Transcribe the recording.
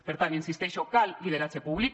per tant hi insisteixo cal lideratge públic